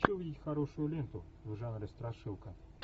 хочу увидеть хорошую ленту в жанре страшилка